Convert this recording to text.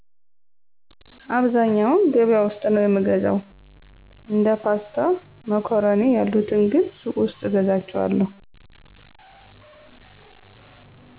አብዛኛውን ገቢያ ውስጥ ነው የምገዛው። እንደ ፓስታ ማኮረኒ ያሉትን ግን ሱቅ ውስጥ እገዛቸዋለሁ።